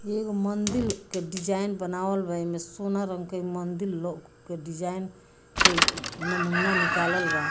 इ एगो मंदील के डिज़ाइन बनावल बा इमे सोना रंग के मंदील लउक के डिज़ाइन के इ नमूना निकालल बा।